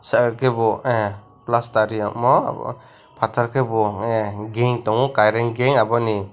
charkebo aah plastar riyamw patar ke bo aah geng tanggo current geng abo ni.